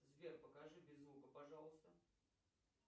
сбер покажи без звука пожалуйста